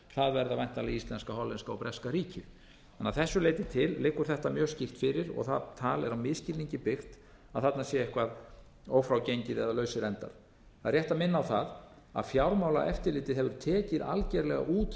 það verða væntanlega íslenska hollenska og breska ríkið þannig að þessu leyti til liggur þetta mjög skýrt fyrir það er á misskilningi byggt að þarna sé eitthvað ófrágengið eða lausir endar það er rétt að minna á það að fjármálaeftirlitið hefur tekið algerlega út